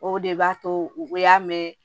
O de b'a to u y'a mɛn